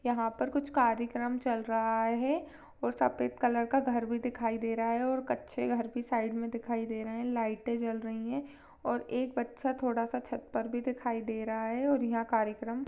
यहाँ पर कुछ कार्यक्रम चल रहा है और सफेद कलर का घर भी दिखाई दे रहा है और कच्चे घर भी साइड मे दिखाई दे रहे है लाइटे जल रही है और एक बच्चा थोड़ा सा छत पर भी दिखाई दे रहा है और यहाँ कार्यक्रम--